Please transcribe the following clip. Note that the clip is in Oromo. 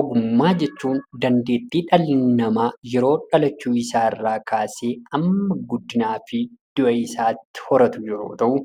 Ogummaa jechuun dandeettii dhalli namaa yeroo dhalachuu isaa irraa kaasee hamma guddinaa fi du'a isaatti horatu yeroo ta'u,